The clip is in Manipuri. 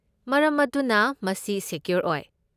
ꯃꯔꯝ ꯑꯗꯨꯅ ꯃꯁꯤ ꯁꯦꯀ꯭ꯌꯣꯔ ꯑꯣꯏ꯫